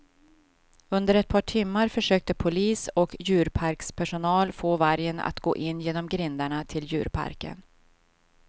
Under ett par timmar försökte polis och djurparkspersonal få vargen att gå in genom grindarna till djurparken.